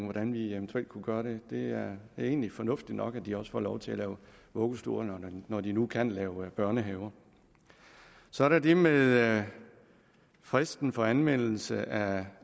hvordan vi eventuelt kunne gøre det det er egentlig fornuftigt nok at de også får lov til at lave vuggestuer når de nu kan lave børnehaver så er der det med fristen for anmeldelse af